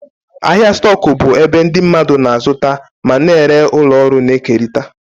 Ahịa stoku bụ ebe ndị mmadụ na-azụta ma na-ere ụlọ ọrụ na-ekerịta.